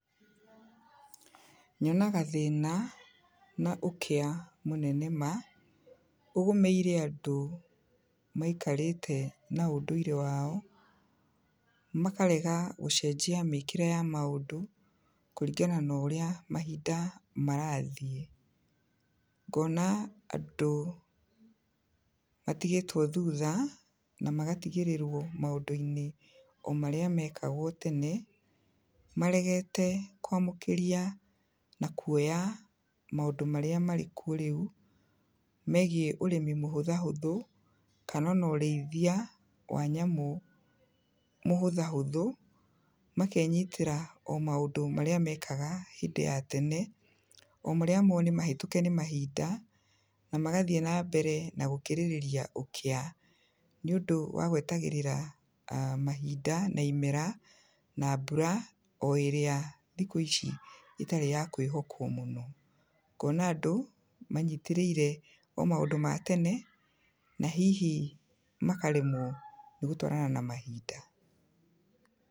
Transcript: Nyonaga thĩna, na ũkĩa mũnene maa, ũgũmĩire andũ, maikarĩte na ũndũirĩ wao, makarega gũcenjia mĩkĩre ya maũndũ, kũringana norĩa mahinda marathiĩ, ngona andũ, matigĩtwo thutha, na magatigĩrĩrwo maũndũ-inĩ o marĩa mekagwo tene, maregete kwamũkĩria, na kuoya, maũndũ marĩa marĩkuo rĩu, megiĩ ũrĩmi mũhũtha hũthũ, kana ona ũrĩithia wa nyamũ mũhũtha hũthũ, makenyitĩra o maũndũ marĩa mekaga hĩndĩ ya tene, o marĩa mo nĩ mahetũke nĩ mahinda, na magathiĩ na mbere na gũkirĩrĩria ũkĩa, nĩundũ wa gwetagĩrĩra aah mahinda, na imera, na mbura,o ĩrĩa thikũ ici ĩtarĩ ya kwĩhokwo mũno, ngona andũ manyitĩrĩire o maũndũ matene, na hihi makaremwo nĩ gũtwarana na mahinda.